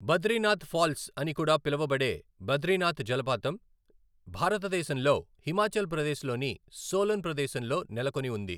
Badrinath falls అని కూడా పిలువబడే బద్రినాథ్ జలపాతం భారతదేశంలో హిమాచల్ ప్రదేశ్లోని సోలన్ ప్రదేశంలో నెలకొని ఉంది.